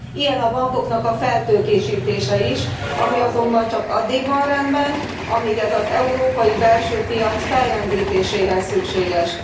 Ilyen a bankok feltőkésítése is, ami azonban csak addig van rendben, amíg ez az európai belső piac fellendítéséhez szükséges.